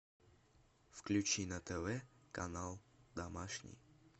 включи на тв канал домашний